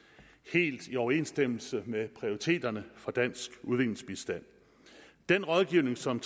helt i overensstemmelse med prioriteterne for dansk udviklingsbistand den rådgivning som